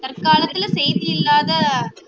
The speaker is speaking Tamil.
தற்காலத்துல செய்தி இல்லாத